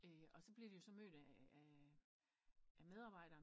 Og så blev de jo så mødt af medarbejderen